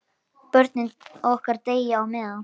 Börnin okkar deyja á meðan.